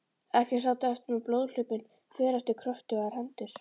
Ekki sátum við eftir með blóðhlaupin för eftir kröftugar hendur.